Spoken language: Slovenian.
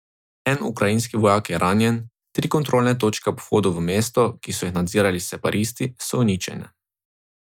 En ukrajinski vojak je ranjen, tri kontrolne točke ob vhodu v mesto, ki so jih nadzirali separatisti, so uničene.